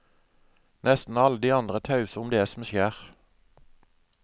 Nesten alle de andre er tause om det som skjer.